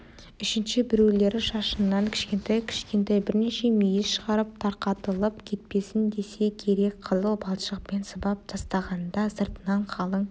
үшінші біреулері шашынан кішкентай-кішкентай бірнеше мүйіз шығарып тарқатылып кетпесін десе керек қызыл балшықпен сыбап тастаған да сыртынан қалың